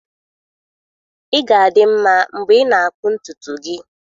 Ị ga-adị nma mgbe ị na-akpụ ntutu gị.